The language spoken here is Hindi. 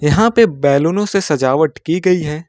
यहां पे बैलूने से सजावट की गई है।